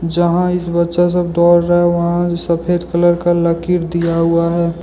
यहां इस बच्चा सब दौड़ रहा है वहां सफेद कलर का लकीर दिया हुआ है।